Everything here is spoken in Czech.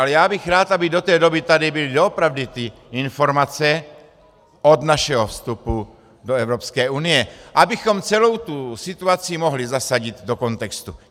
Ale já bych rád, aby do té doby tady byly doopravdy ty informace od našeho vstupu do Evropské unie, abychom celou tu situaci mohli zasadit do kontextu.